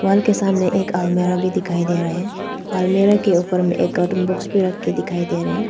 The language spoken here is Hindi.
वॉल के सामने एक अलमीरा भी दिखाई दे रहा है । अलमीरा के ऊपर में एक कार्टून बॉक्स पर रखकर दिखाई दे रहे हैं।